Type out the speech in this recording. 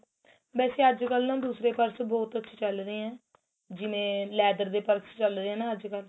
ਵੇਸੇ ਅੱਜਕਲ ਨਾ ਦੂਸਰੇ purse ਬਹੁਤ ਅੱਛੇ ਚੱਲ ਰਹੇ ਏ ਜਿਵੇਂ leather ਦੇ purse ਚੱਲ ਰਹੇ ਏ ਨਾ ਅੱਜਕਲ